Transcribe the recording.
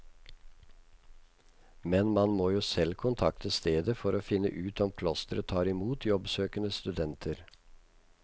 Men man må selv kontakte stedet for å finne ut om klosteret tar imot jobbsøkende studenter.